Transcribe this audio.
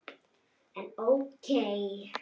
En ókei.